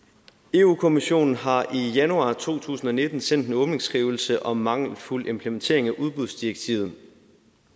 europa kommissionen har i januar to tusind og nitten sendt os en åbningsskrivelse om mangelfuld implementering af udbudsdirektivet